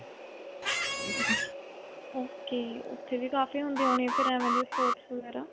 ok. ਉੱਥੇ ਵੀ ਕਾਫੀ ਹੁੰਦੀਆ ਹੋਣੀਆਂ ਫਿਰ ਐਂਵੇਂ ਦੀਆਂ sports ਵਗੈਰਾ.